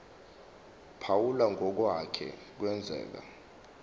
phawula ngokwake kwenzeka